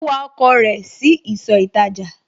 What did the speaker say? Ó wa ọkọ̀ rẹ̀ sí ìsọ̀ ìtajà